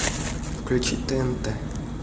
включить тнт